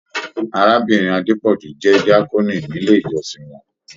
Arábìnrin Adepoju jẹ́ diakoni nílé íjọ́sìn wọn.